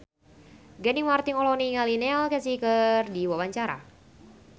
Gading Marten olohok ningali Neil Casey keur diwawancara